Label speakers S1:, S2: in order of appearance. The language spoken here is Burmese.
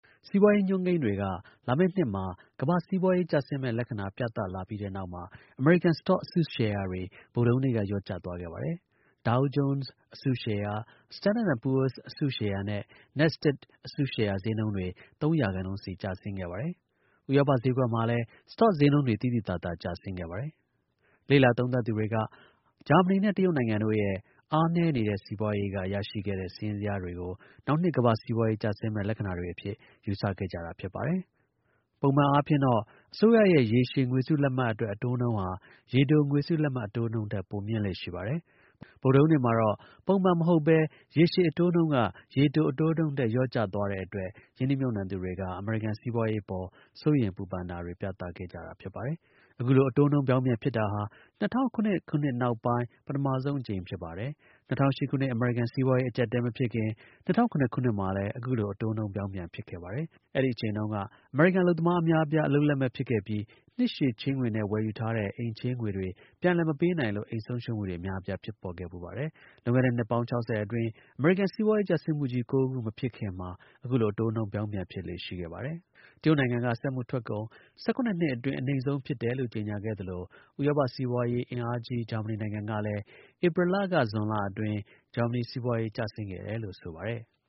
S1: စီးပွားရေး အညွှန်းကိန်းတွေက လာမယ့်နှစ်မှာ ကမ္ဘာ့ စီးပွားရေး ကျဆင်းမယ့် လက္ခဏာ ပြသလာပြီးတဲ့နောက်မှာ အမေရိကန် စတော့ အစုရှယ်ယာတွေ ဗုဒ္ဓဟူးနေ့က လျော့ကျ သွားခဲ့ပါတယ်။ Dow Jones အစုရှယ်ယာ Standard and Poors အစုရှယ်ယာနဲ့ Nasdaq အစာရှယ်ယာ ဈေးနှုန်းတွေ ၃ ရာခိုင်နှုန်းစီ ကျဆင်းခဲ့ပါတယ်။ ဥရောပ ဈေးကွက်မှာလည်း စတော့ ဈေးနှုန်းတွေ သိသိသာသာ ကျဆင်းခဲ့ပါတယ်။ လေ့လာ သုံးသပ်သူတွေက ဂျာမနီနဲ့ တရုတ်နိုင်ငံတို့ရဲ့ အားနည်းနေတဲ့ စီးပွားရေးက ရရှိခဲ့တဲ့ စာရင်းဇယားတွေကို နောက်နှစ် ကမ္ဘာ့ စီးပွားရေး ကျဆင်းမယ့် လက္ခဏာတွေအဖြစ် ယူဆခဲ့ကြပါတယ်။ ပုံမှန်အားဖြင့်တော့ အစိုးရရဲ့ ရေရှည် ငွေစုလက်မှတ်အတွက် အတိုးနှုန်းဟာ ရေတို ငွေစုလတ်မှတ် အတိုးနှုန်းထက် ပိုမြင့်လေ့ရှိပါတယ်။ ဗုဒ္ဓဟူးနေ့မှာတော့ ပုံမှန်မဟုတ်ဘဲ ရေရှည် အတိုးနှုန်းက ရေတို အတိုးနှုန်းထက် လျော့ကျသွားတဲ့အတွက် ရင်းနှီးမြှုပ်နှံသူတွေက အမေရိကန် စီးပွားရေးအပေါ် စိုးရိမ်ပူပန်တာတွေ ပြသခဲ့ကြပါတယ်။ အခုလို အတိုးနှုန်း ပြောင်းပြန်ဖြစ်တာဟာ ၂၀၀၇ ခုနှစ်နောက်ပိုင်း ပထမဆုံး အကြိမ်ဖြစ်ပါတယ်။ ၂၀၀၈ ခုနှစ် အမေရိကန် စီးပွားရေး အကျပ်အတည်း မဖြစ်ခင် ၂၀၀၇ ခုနှစ်မှာလည်း အခုလို အတိုးနှုန်း ပြောင်းပြန် ဖြစ်ခဲ့ပါတယ်။ အဲဒီ အချိန်တုန်းက အမေရိကန် အလုပ်သမား အများအပြား အလုပ်လက်မဲ့ ဖြစ်ခဲ့ပြီး နှစ်ရှည် ချေးငွေနဲ့ ဝယ်ယူထားတဲ့ အိမ် ချေးငွေ ပြန်လည် မပေးနိုင်လို့ အိမ် ဆုံးရှုံးမှုတွေ အများအပြား ဖြစ်ပေါ်ခဲ့ဖူးပါတယ်။ လွန်ခဲ့တဲ့ နှစ်ပေါင်း ခြောက်ဆယ်အတွင်း အမေရိကန် စီးပွားရေး ကျဆင်းမှု ကြီး ၉ ခု မဖြစ်ခင်မှာ အခုလို အတိုးနှုန်း ပြောင်းပြန် ဖြစ်လေ့ ရှိခဲ့ပါတယ်။ တရုတ်နိုင်ငံက စက်မှုထွက်ကုန် ၁၇ နှစ်အတွင်း အနိမ့်ဆုံးဖြစ်တယ်လို့ ကြေညာခဲ့သလို ဥရောပ စီးပွားရေး အင်အားကြီး ဂျာမနီနိုင်ငံကလည်း ဧပြီက ဇွန်လအတွင်း ဂျာမနီစီပွားရေး ကျဆင်းခဲ့တယ်လို့ ဆိုပါတယ်။